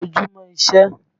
Kọjú mọ́ iṣẹ́!